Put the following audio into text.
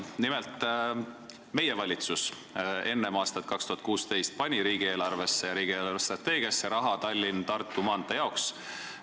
Nimelt, meie valitsus eraldas enne aastat 2016 riigieelarvest raha Tallinna–Tartu maantee jaoks ja nägi selle edasise ehituse ette ka riigi eelarvestrateegias.